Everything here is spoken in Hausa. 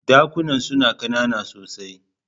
Dakunan suna kanana sosai.